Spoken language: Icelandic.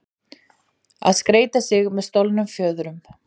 Að skreyta sig með stolnum fjöðrum